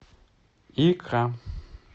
икра